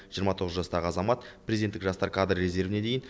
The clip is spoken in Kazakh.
жиырма тоғыз жастағы азамат президенттік жастар кадр резервіне дейін